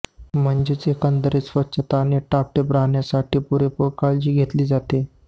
म्हणजेच एकंदरीत स्वच्छता आणि टापटीप राहण्यासाठी पुरेपूर काळजी घेतली जाते